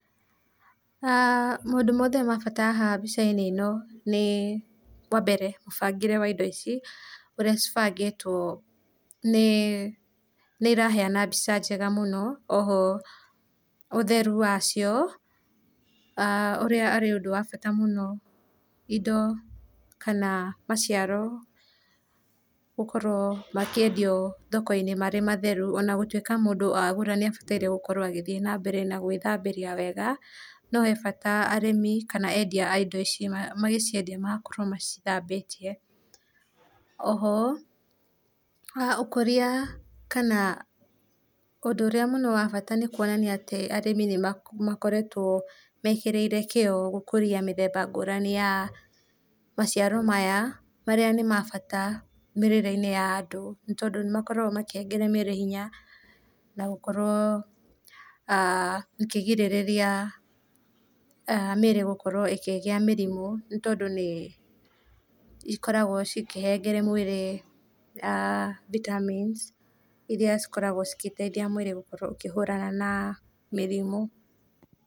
Na maũndũ mothe ma bata haha mbicainĩ ĩno nĩ wa mbere mũbangĩre wa indo ici ũrĩa cibangĩtwo nĩ iraheana mbĩca njega mũno, oho ũtherũ wacio[aah] ũrĩa ũrĩ ũndũ wa bata mũno indo kana maciaro gũkorwo makĩendĩo thokoinĩ marĩ matherũ ona gũtika mũndũ agũra nĩabataire gũkorwo agĩthĩe na mbere gwĩthambĩrĩa wega, no he bata arĩmi kana endĩa a indo ici magĩciendĩa magakorwo macithambĩtĩe. Oho ũkũria kana ũndũ ũrĩa mũno wa bata mũno nĩ kũonanĩa atĩ arĩmi nĩmakoretwo mekerĩirĩ kĩo gũkũrĩa mĩthemba ya maciaro maya, marĩa nĩ mabata mĩrĩrĩinĩ ya andũ nĩ tondũ nĩmakoragwo makĩhegera mĩĩrĩ hĩnya na gũkorwo[aah] mũkĩgĩrĩrĩa mĩĩrĩ gũkorwo ĩkĩgĩa mĩrĩmũ nĩ tondũ nĩ ĩkoragwo cikĩhengera mwĩrĩ vitamins iria cikoragwo cigeteithĩa mwĩrĩ ũkorwo kũhũrana na mĩrĩmũ.